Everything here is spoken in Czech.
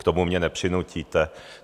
K tomu mě nepřinutíte.